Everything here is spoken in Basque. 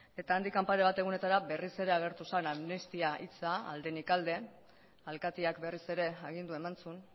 eta handik pare bat egunetara berriz ere agertu zen amnistia hitza aldetik alde alkateak berriz ere agindua eman zuen